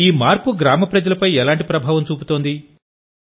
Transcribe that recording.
ఈ మార్పు గ్రామ ప్రజలపై ఎలాంటి ప్రభావం చూపుతుంది